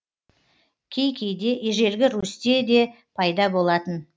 кей кейде ежелгі русьте де пайда болатын